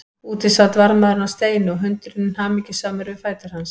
Úti sat varðmaðurinn á steini og hundurinn hamingjusamur við fætur hans.